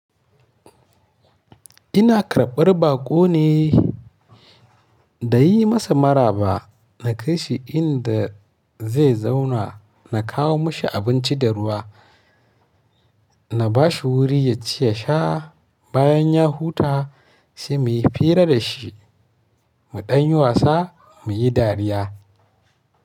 Ina karɓar baƙo ne, da yi masa maraba, na kai shi inda zai zauna, na kawo mashi abinci da ruwa, na ba shi wuri ya ci ya sha. Bayan ya huta se mu yi fira da shi, mu ɗan wasa, mu yi dariya.